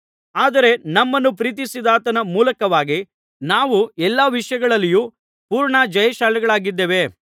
ಆದರೆ ನಮ್ಮನ್ನು ಪ್ರೀತಿಸಿದಾತನ ಮೂಲಕವಾಗಿ ನಾವು ಎಲ್ಲಾ ವಿಷಯಗಳಲ್ಲಿಯೂ ಪೂರ್ಣ ಜಯಶಾಲಿಗಳಾಗಿದ್ದೇವೆ